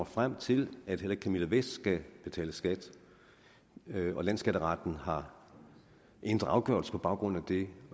frem til at heller ikke camilla vest skal betale skat og landsskatteretten har ændret afgørelse på baggrund af det